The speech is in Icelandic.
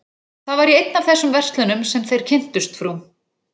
Það var í einni af þessum verslunum sem þeir kynntust frú